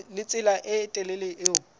le tsela e telele eo